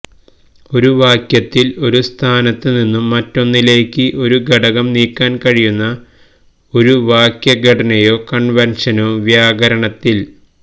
ഒരു വാക്യത്തിൽ ഒരു സ്ഥാനത്ത് നിന്ന് മറ്റൊന്നിലേക്ക് ഒരു ഘടകം നീക്കാൻ കഴിയുന്ന ഒരു വാക്യഘടനയോ കൺവെൻഷനോ വ്യാകരണത്തിൽ